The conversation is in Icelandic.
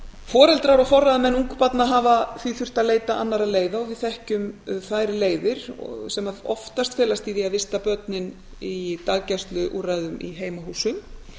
foreldrar og forráðamenn ungbarna hafa því þurft að leita annarra leiða og við þekkjum þær leiðir sem oftast felast í því að vista börnin í daggæsla úrræðum í heimahúsum